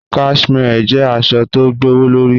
Cashmere jẹ̀ àṣọ̀ tó gbọwọ̀lọ̀rí.